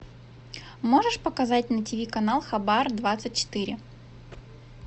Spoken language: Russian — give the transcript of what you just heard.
можешь показать на тв канал хабар двадцать четыре